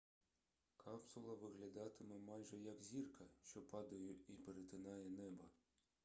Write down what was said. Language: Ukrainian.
капсула виглядатиме майже як зірка що падає і перетинає небо